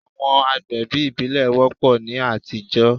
Àwọn àgbẹ̀bí ìbílẹ̀ wọ́pọ̀ ní àtijọ́.